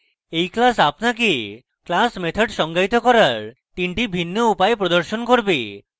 এই class আপনাকে class methods সঙ্গায়িত করার 3 the বিভিন্ন উপায় প্রদর্শন করবে